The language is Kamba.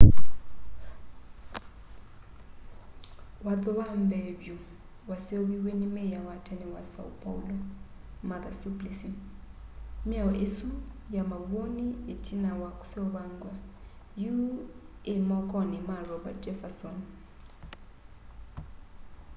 watho wa mbee vyu waseuviw'e ni meya wa tene wa são paulo martha suplicy. miao isu ya mawoni itina wa kiseuvangywa yu ii mokoni ma roberto jefferson